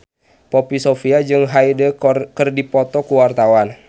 Poppy Sovia jeung Hyde keur dipoto ku wartawan